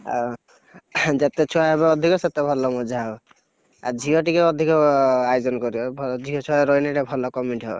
ଆଉ, ଯେତେ ଛୁଆ ହେବେ ଅଧିକ ସେତେ ଭଲ ମଜା ହବ। ଆଜି ଝିଅ ଟିକେ ଅଧିକ ଆୟୋଜନ କରିବ ଭ~ଝିଅଛୁଆ ରହିଲେ ଟିକେ ଭଲ comedy ହବ।